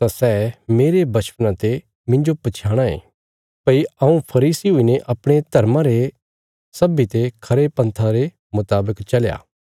तां सै मेरे बच्छपना ते मिन्जो पछयाणां ये भई हऊँ फरीसी हुईने अपणे धर्मा रे सब ते खरे पन्था रे मुतावक चलया